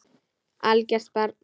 Algert barn.